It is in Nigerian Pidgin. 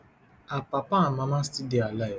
her papa and mama still dey alive